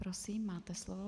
Prosím, máte slovo.